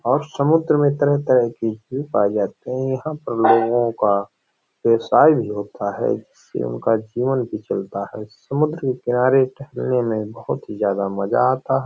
और समुद्र में तरह-तरह की पाए जाते हैं यहाँ पर लोगो का व्यवसाय भी होता है जिससे उनका जीवन भी चलता है। समुद्र के किनारे टहलने में बहुत ही ज़्यादा मज़ा आता --